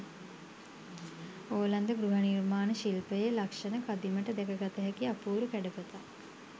ඕලන්ද ගෘහ නිර්මාණ ශිල්පයෙ ලක්ෂණ කදිමට දැකගත හැකි අපූරු කැඩපතක්.